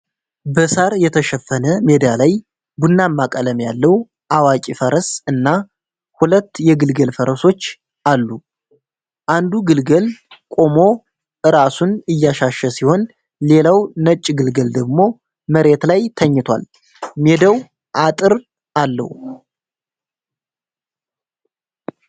በሳር የተሸፈነ ሜዳ ላይ ቡናማ ቀለም ያለው አዋቂ ፈረስ እና ሁለት የግልገል ፈረሶች አሉ። አንዱ ግልገል ቆሞ ራሱን እያሻሸ ሲሆን፣ ሌላው ነጭ ግልገል ደግሞ መሬት ላይ ተኝቷል። ሜዳው አጥር አለው።